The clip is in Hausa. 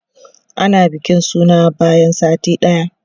ana bikin suna bayan sati ɗaya